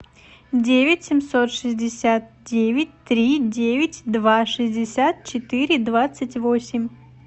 девять семьсот шестьдесят девять три девять два шестьдесят четыре двадцать восемь